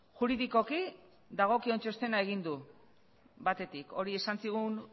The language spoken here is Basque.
juridikoki dagokion txostena egin du batetik hori esan zigun